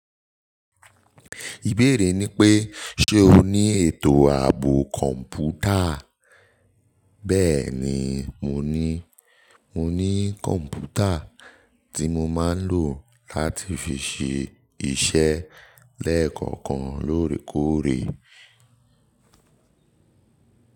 Ìbéèrè ni pé ṣe o ní ètò ààbò kọ̀m̀pútà? Bẹ́ẹ̀ni, mo ní mo ní kọ̀m̀pútà tí mo máa ń lò láti fi ṣe iṣẹ́ lẹ́ẹ̀kọ̀kan lóòrèkóòrè.